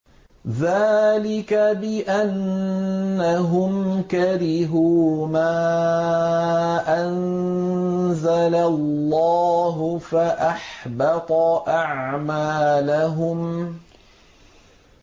ذَٰلِكَ بِأَنَّهُمْ كَرِهُوا مَا أَنزَلَ اللَّهُ فَأَحْبَطَ أَعْمَالَهُمْ